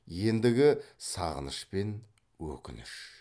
ендігі сағыныш пен өкініш